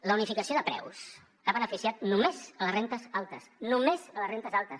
la unificació de preus ha beneficiat només les rendes altes només les rendes altes